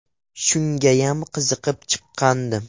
Shungayam qiziqib chiqqandim.